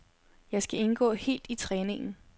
Jeg skal indgå helt i træningen.